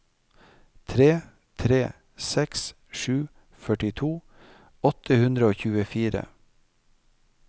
tre tre seks sju førtito åtte hundre og tjuefire